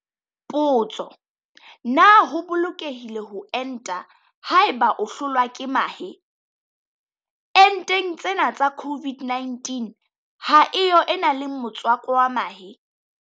Potso- Na ho bolokehile ho enta haeba o hlolwa ke mahe? Enteng tsena tsa COVID-19 ha e yo e nang le motswako wa mahe.